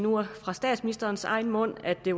fra statsministerens egen mund at det